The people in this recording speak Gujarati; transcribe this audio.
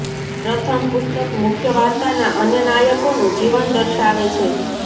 પ્રથમ પુસ્તક મુખ્ય વાર્તાના અન્ય નાયકોનું જીવન દર્શાવે છે